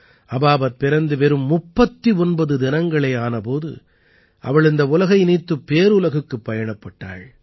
அபாபத் பிறந்து வெறும் 39 தினங்களே ஆன போது அவள் இந்த உலகை நீத்துப் பேருலகுக்குப் பயணப்பட்டாள்